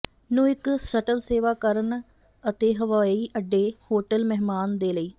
ਨੂੰ ਇੱਕ ਸ਼ਟਲ ਸੇਵਾ ਕਰਨ ਅਤੇ ਹਵਾਈ ਅੱਡੇ ਹੋਟਲ ਮਹਿਮਾਨ ਦੇ ਲਈ